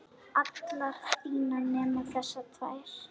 allar þínar nema þessar tvær.